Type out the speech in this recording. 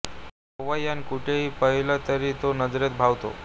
केव्हाही अन कुठेही पाहिलं तरी तो नजरेत भावतो